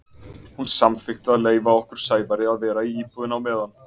Hún samþykkti að leyfa okkur Sævari að vera í íbúðinni á meðan.